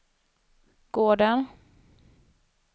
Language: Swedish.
gården